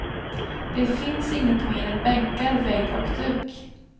Det finns inget mer än bänkar, vägg och duk.